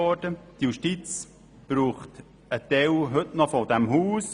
Die JGK braucht einen Teil des Hauses.